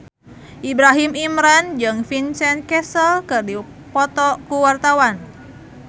Ibrahim Imran jeung Vincent Cassel keur dipoto ku wartawan